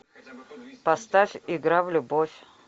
поставь игра в любовь